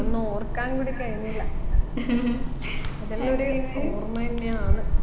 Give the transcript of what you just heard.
അതൊന്നും ഓർക്കാനും കൂടി കഴിയുന്നില്ല അതെല്ലു ഒര് ഓർമ്മ എന്നെയാന്ന്